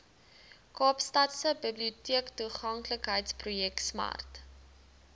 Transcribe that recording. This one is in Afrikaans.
kaapstadse biblioteektoeganklikheidsprojek smart